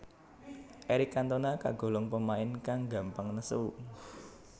Eric Cantona kagolong pemain kang gampang nesu